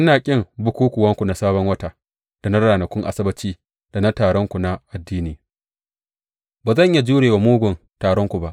Ina ƙin bukukkuwanku na Sabon Wata, da na ranakun Asabbaci, da taronku na addini, ba zan iya jure wa mugun taronku ba.